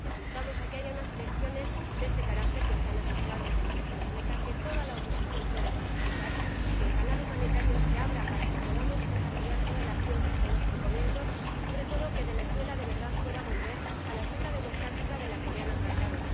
Les instamos a que haya unas elecciones de este carácter, que sean aceptables de manera completa, que toda la oposición pueda participar, que el canal humanitario se abra para que podamos desarrollar toda la acción que estamos proponiendo y, sobre todo, que Venezuela de verdad pueda volver a la senda democrática de la que le han apartado.